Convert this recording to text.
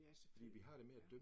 Ja, selvfølgelig, ja